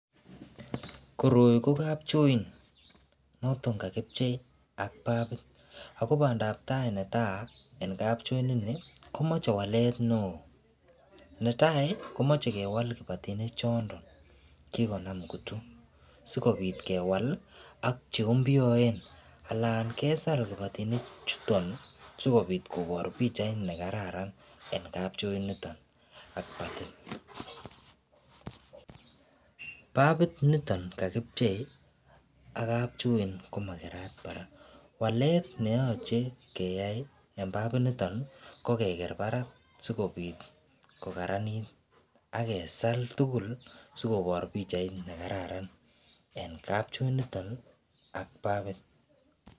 Koroi kokapchoit, notok kakipchei ak pafit. Ago bandabtai netai eng kapchoit ni, komeche walet neo. Netai komachei kewal kibatinik chondon, kikonam kutu, sikobit kewal ak che mpyuoen, anan kesal kibatinik chuton sikobiit kobor pichait ne kararan en kapchoit niton ak kibatit Pafit niton kakipchei ak kapchoit komakerat barak. Walet ne yachei keyai eng' pafit niton, kokeger barak, sikobit kokararanit, agesal tugul sikobor pichait ne kararan en kapchoit niton ak pafit.